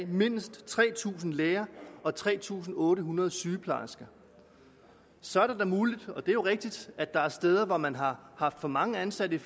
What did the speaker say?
mindst tre tusind læger og tre tusind otte hundrede sygeplejersker så er det da muligt og det er jo rigtigt at der er steder hvor man har haft for mange ansatte i